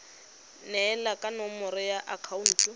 neelana ka nomoro ya akhaonto